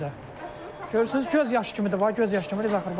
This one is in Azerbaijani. Görürsüz, göz yaşı kimidir, bax, göz yaşı kimi, necə axır, bax.